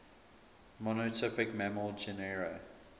monotypic mammal genera